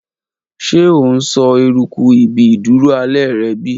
Ṣe o n sọ eruku ibi iduro alẹ rẹ bi?